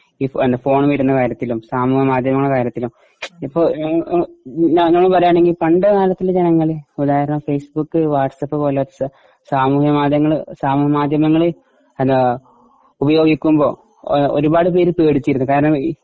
ഇപ്പൊ ഫോൺ വരുന്ന കാര്യത്തിലും സാമൂഹിക മാധ്യമങ്ങളുടെ കാര്യത്തിലും ഇപ്പൊ അങ്ങനെ പറയുകയാണെങ്കി പണ്ട് കാലത്തേ ജനങ്ങള് ഫേസ്ബുക് വാട്സ്ആപ് പോലത്തെ സാമൂഹിക മാധ്യമങ്ങള് സാമൂഹിക മാധ്യമങ്ങള് അത് ഉപയോഗിക്കുമ്പോ ഒരുപാട് പേര് പേടിച്ചിരുന്നു. കാരണം